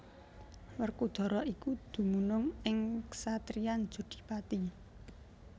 Werkudara iku dumunung ing ksatriyan Jodhipati